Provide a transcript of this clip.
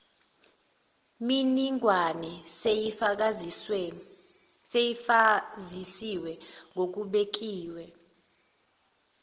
miningwane seyifakazisiwe ngokubekiwe